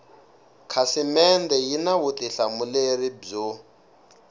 khasimende yi na vutihlamuleri byo